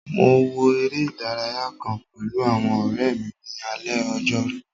Mo wo eré ìdárayá kàn pẹ̀lú àwọn ọ̀rẹ́ mi ní alé ojórú